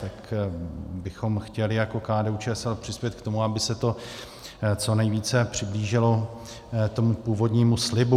Tak bychom chtěli jako KDU-ČSL přispět k tomu, aby se to co nejvíce přiblížilo tomu původnímu slibu.